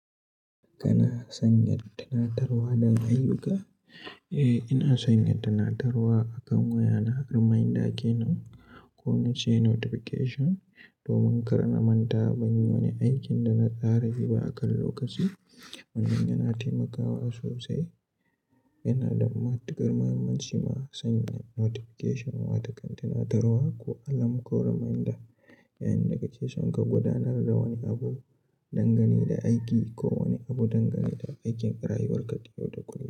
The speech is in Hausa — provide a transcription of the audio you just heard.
Kana sanya tattaunawa don ayyuka? Eh, ina sanya tunatarwa akan wayana reminder kenan ko na ce notification domin kar na manta ban yi wani aikin da na tsara yi ba akan lokaci. Wannan yana taimakawa sosai. Yanada matuƙar mahimmanci ma sanya notification watan tattanarwa ko alarm ko reminder, yayin da kake son ka gudanar da wani abu dangane da aiki ko wani abu dangane da aikin rayuwarka ta yau da kullum.